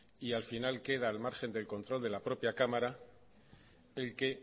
y al final queda al margen del control de la propia cámara el que